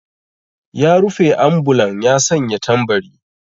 Ya rufe ambulan ya sanya tambari.